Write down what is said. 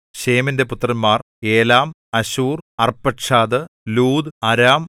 ശേമിന്റെ പുത്രന്മാർ Elam Asshur Arphaxad Lud Aram